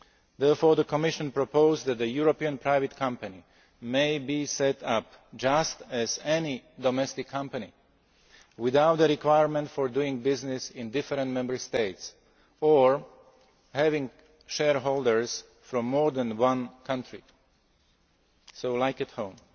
SMEs. Therefore, the Commission proposed that a European private company may be set up just like any domestic company, without the requirement for doing business in different Member States or having shareholders from more than one country just like at